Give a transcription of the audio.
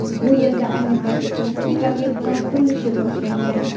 Bu yerda ayni paytda turistik obyektlar qurilishi boshlangan.